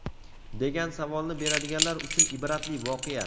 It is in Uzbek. degan savolni beradiganlar uchun ibratli voqea.